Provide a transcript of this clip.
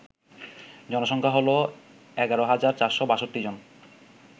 জনসংখ্যা হল ১১৪৬২ জন